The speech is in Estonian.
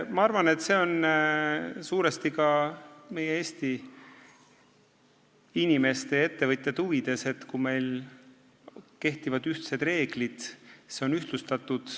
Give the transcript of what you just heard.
Ma arvan, et see on suuresti ka meie Eesti inimeste, ettevõtjate huvides, kui meil kehtivad ühtsed reeglid ja see on ühtlustatud.